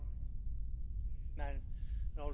and also very pro European.